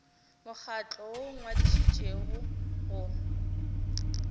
mokgatlo woo o ngwadišitšwego go